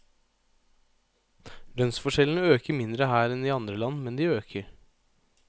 Lønnsforskjellene øker mindre her enn i andre land, men de øker.